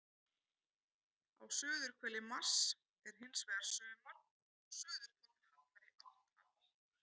Á suðurhveli Mars er hins vegar sumar og suðurpóllinn hallar í átt að okkar.